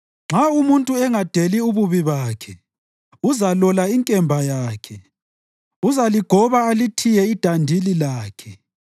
Nxa umuntu engadeli ububi bakhe uzalola inkemba yakhe; uzaligoba alithiye idandili lakhe.